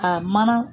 A mana